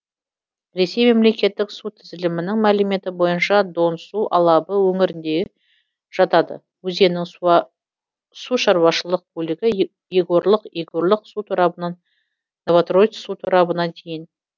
ресей мемлекеттік су тізілімінің мәліметі бойынша дон су алабы өңіріне жатады өзеннің сушаруашылық бөлігі егорлык егорлык су торабынан новотроиц су торабына дейін